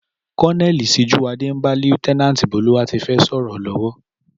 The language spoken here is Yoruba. Coloneli Síjúwadé n bá líéutènànti Bólúwatifẹ́ sòrò lówó